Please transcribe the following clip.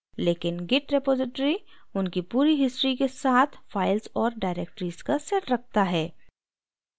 लेकिन git repository उनकी पूरी history के साथ files और directories का set रखता है